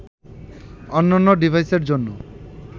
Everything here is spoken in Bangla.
অন্যান্য ডিভাইসের জন্য